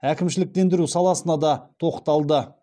әкімшіліктендіру саласына да тоқталды